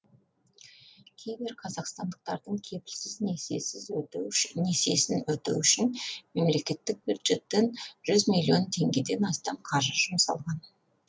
кейбір қазақстандықтардың кепілсіз несиесін өтеу үшін мемлекеттік бюджеттен жүз миллион теңгеден астам қаржы жұмсалған